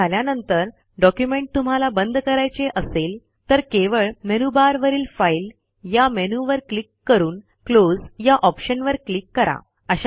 save झाल्यानंतर document तुम्हाला बंद करायचे असेल तर केवळ मेनूबारवरील फाइल या मेनूवर क्लिक करून क्लोज या ऑप्शनवर क्लिक करा